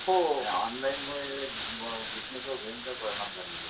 हो आणि ऑनलाईन मूळे बीजनेस वर भयंकर परिणाम झालेली आहे.